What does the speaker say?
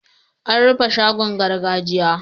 An rufe shagon gargajiya.